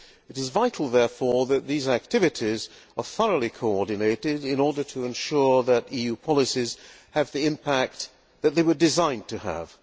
It is vital, therefore, that these activities are thoroughly coordinated in order to ensure that EU policies have the impact that they were designed to have.